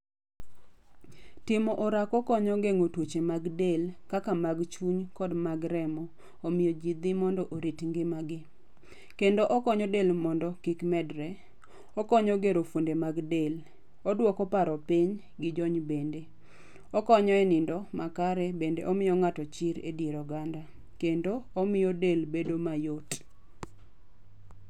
Timo orako konyo gengo tuoche mag del kaka mag chuy kod mag remo omiyo jii dhi mondo orit ngimagi. Kendo okonyo del mondo kik medre, okonyo gero fuonde mag del, oduoko paro piny gi jony bende. Okonyo e nindo makare bende omiyo chir e dier oganda, kendo omiyo del bedo mayot